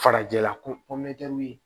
Farajɛla ko